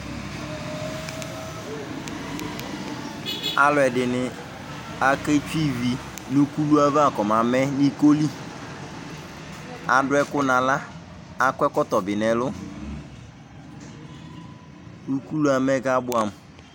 aluɛdɩnɩ kawa ivi nʊ ukulu nʊ ikoli kɔmamɛ, adʊ ɛkʊ nʊ aɣla, kʊ akɔ ɛkɔtɔ bɩ nʊ ɛlu, ukulu yɛ amɛ kʊ abuɛ amʊ